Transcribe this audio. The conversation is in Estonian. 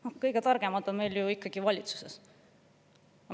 No kõige targemad on meil ju valitsuses!